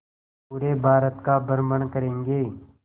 पूरे भारत का भ्रमण करेंगे